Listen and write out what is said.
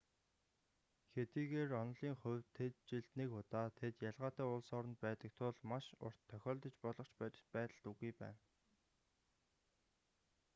хэдийгээр онолын хувьд тэд жилд нэг удаа тэд ялгаатай улс оронд байдаг тул маш урт тохиолдож болох ч бодит байдалд үгүй байна